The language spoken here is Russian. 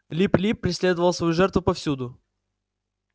лип лип преследовал свою жертву повсюду